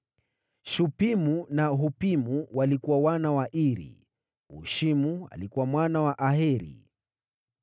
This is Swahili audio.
Washupimu na Wahupimu walikuwa wazao wa Iri. Wahushimu walikuwa wazao wa Aheri.